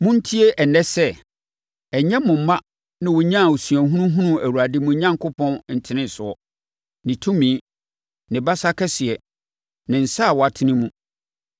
Montie ɛnnɛ sɛ, ɛnyɛ mo mma na wɔnyaa osuahunu hunuu Awurade mo Onyankopɔn ntenesoɔ, ne tumi, ne basa kɛseɛ, ne nsa a watene mu,